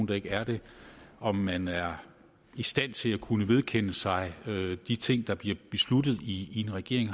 der ikke er det om man er i stand til at kunne vedkende sig de ting der bliver besluttet i en regering